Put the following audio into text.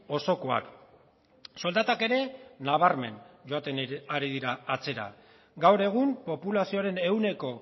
osokoak soldatak ere nabarmen joaten ari dira atzera gaur egun populazioaren ehuneko